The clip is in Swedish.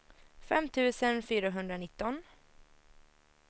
fem tusen fyrahundranitton